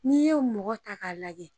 N'i ye mɔgɔ ta k'a lajɛ